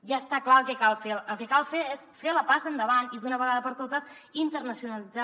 ja està clar el que cal fer el que cal fer és fer la passa endavant i d’una vegada per totes internacionalitzar